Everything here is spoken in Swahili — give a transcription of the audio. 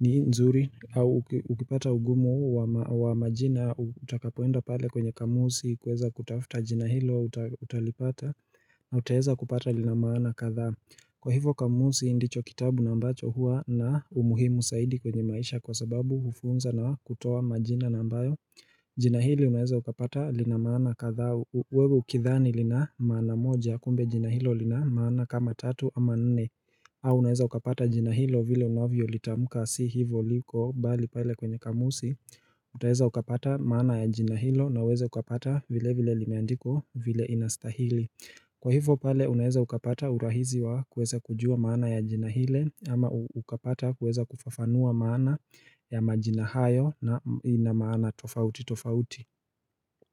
ni nzuri au ukipata ugumu wa majina utakapoenda pale kwenye kamusi kueza kutafuta jina hilo utalipata na utaeza kupata lina maana kadhaa. Kwa hivo kamusi ndicho kitabu na ambacho hua na umuhimu zaidi kwenye maisha kwa sababu hufunza na kutoa majina na ambayo jina hili unaeza ukapata lina maana kadhaa wewe ukidhani lina maana moja kumbe jina hilo lina maana kama tatu ama nne au unaeza ukapata jina hilo vile unavyo litamuka si hivo liko bali pale kwenye kamusi Utaeza ukapata maana ya jina hilo na uweze ukapata vile vile limeandikwa vile inastahili Kwa hivyo pale unaeza ukapata urahisi wa kueza kujua maana ya jina ile ama ukapata kueza kufafanua maana ya majina hayo na maana tofauti tofauti.